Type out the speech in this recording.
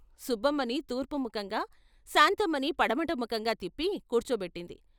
సుబ్బమ్మని తూర్పుముఖంగా శాంతమ్మని పడమటముఖంగా తిప్పి కూర్చో బెట్టింది.